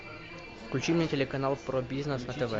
включи мне телеканал про бизнес на тв